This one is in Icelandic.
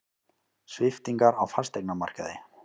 Sviptingar á fasteignamarkaði